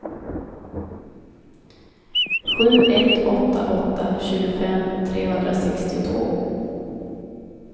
sju ett åtta åtta tjugofem trehundrasextiotvå